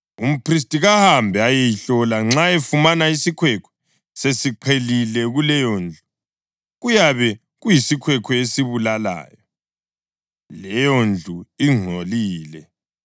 umphristi kahambe ayeyihlola, nxa efumana isikhwekhwe sesiqhelile kuleyondlu, kuyabe kuyisikhwekhwe esibulalayo; leyondlu ingcolile.